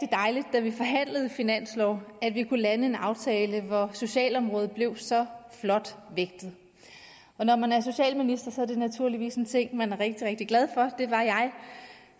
da vi forhandlede finanslov at vi kunne lande en aftale hvor socialområdet blev så flot vægtet når man er socialminister er det naturligvis en ting som man er rigtig glad for det var jeg